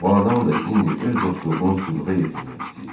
Bu adam da indi öz dostluğunu sübuta yetirmək istəyir.